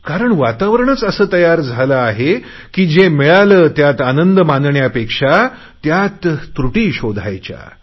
कारण वातावरणच असे तयार झाले आहे की जे मिळाले त्यात आनंद मानण्यापेक्षा त्रुटी शोधायच्या